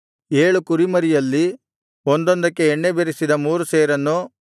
ಏಳು ಕುರಿಮರಿಯಲ್ಲಿ ಒಂದೊಂದಕ್ಕೆ ಎಣ್ಣೆ ಬೆರೆಸಿದ ಮೂರು ಸೇರನ್ನು